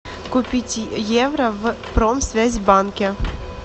купить евро в промсвязьбанке